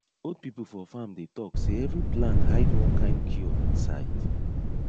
old people for farm dey talk say every plant hide one kind cure inside